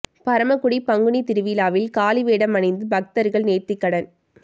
பரமக்குடி பங்குனி திருவிழாவில் காளி வேடம் அணிந்து பக்தர்கள் நேர்த்திக்கடன்